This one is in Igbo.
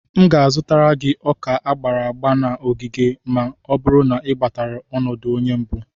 M ga-azụtara gị Ọka agbara agba na ogige ma ọ bụrụ na i gbatara ọnọdụ onye mbụ.